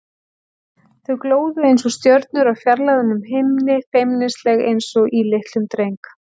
Þau glóðu einsog stjörnur á fjarlægum himni, feimnisleg einsog í litlum dreng.